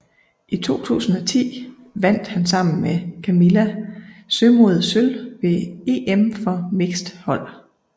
I 2010 vandt han sammen med Camilla Sømod sølv ved EM for mixed hold